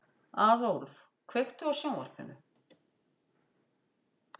Aðólf, kveiktu á sjónvarpinu.